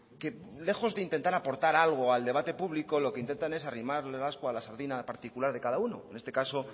que lejos de intentar aportar algo al debate público lo que intentan es arrimar el ascua a la sardina particular de cada uno en este caso